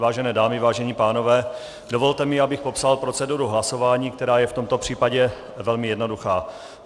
Vážené dámy, vážení pánové, dovolte mi, abych popsal proceduru hlasování, která je v tomto případě velmi jednoduchá.